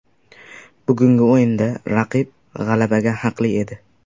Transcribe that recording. Bugungi o‘yinda raqib g‘alabaga haqli edi.